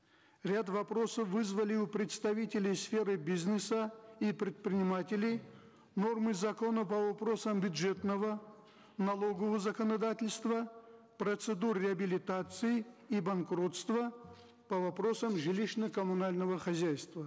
ряд вопросов вызвали у представителей сферы бизнеса и предпринимателей нормы закона по вопросам бюджетного налогового законодательства процедур реабилитации и банкротства по вопросам жилищно коммунального хозяйства